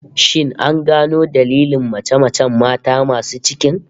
Shin an gano dailin mace-macen mata masu cikin?